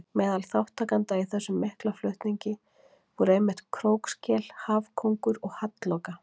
Meðal þátttakenda í þessum mikla flutningi voru einmitt krókskel, hafkóngur og hallloka.